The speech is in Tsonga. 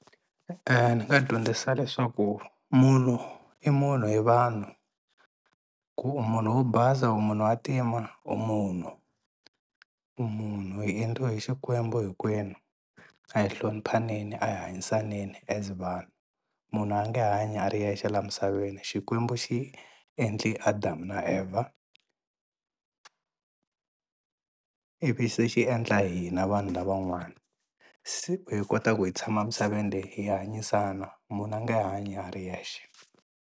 Ni nga dyondzisa leswaku munhu i munhu hi vanhu ku u munhu wo basa u munhu wa ntima u munhu, u munhu hi endliwe hi Xikwembu hinkwenu a hi hloniphaneni a hi hanyisaneni as vanhu munhu a nge hanyi a ri yexe laha misaveni Xikwembu xi endli Adamu na a Evha i vi se xi endla hina vanhu lavan'wani se u hi kota ku hi tshama misaveni leyi hi hanyisana munhu a nge hanyi a ri yexe.